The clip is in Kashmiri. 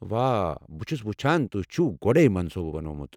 واہ، بہٕ چھُس وُچھان تُہۍ چھِوٕ گوڈے منصوٗبہٕ بناوان ۔